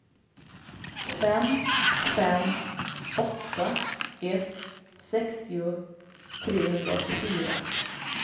fem fem åtta ett sextio trehundraåttiofyra